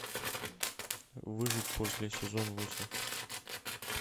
выжить после сезон восемь